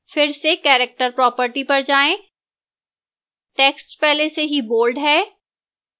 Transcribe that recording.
फिर से character property पर जाएं टेक्स्ट पहले से ही बोल्ड है